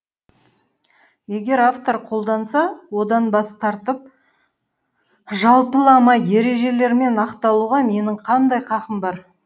егер автор қолданса одан бас тартып жалпылама ережелермен ақталуға менің қандай қақым бар